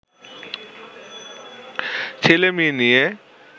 ছেলে-মেয়ে নিয়ে